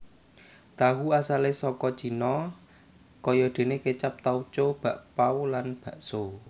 Tahu asalé saka Cina kayadéné kécap tauco bakpau lan bakso